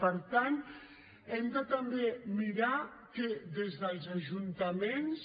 per tant hem de també mirar des dels ajuntaments